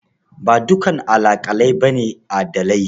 Ba dukan alaƙalai ba ne adilai.